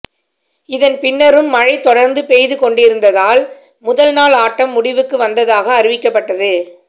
இதன் பின்னரும் மழை தொடர்ந்து பெய்து கொண்டிருந்ததால் முதல் நாள் ஆட்டம் முடிவுக்கு வந்ததாக அறிவிக்கப்பட்டது